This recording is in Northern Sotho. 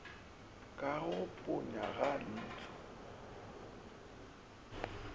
ka go ponya ga leihlo